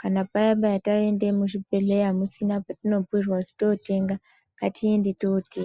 kana paya-paya taenda muzvibhedhleya musina, oetino bhuirwa kuti tootenga, ngatiende tootenga.